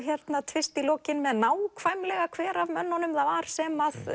tvist í lokin með nákvæmlega hver af mönnunum það var sem